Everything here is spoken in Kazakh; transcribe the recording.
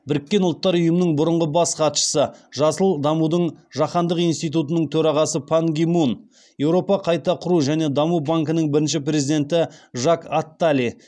біріккен ұлттар ұйымының бұрынғы бас хатшысы жасыл дамудың жаһандық институтының төрағасы пан ги мун еуропа қайта құру және даму банкінің бірінші президенті жак аттали